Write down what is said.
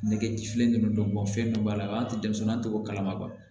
Nege ti fiɲɛ kɛnɛ dɔ bɔ fɛn dɔ b'a la an ti denmisɛnnin te k'o kalama